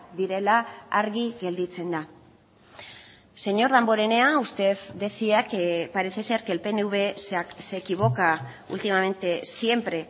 direla argi gelditzen da señor damborenea usted decía que parece ser que el pnv se equivoca últimamente siempre